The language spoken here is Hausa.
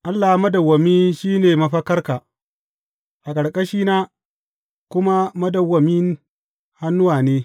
Allah madawwami shi ne mafakarka, a ƙarƙashina kuma madawwamin hannuwa ne.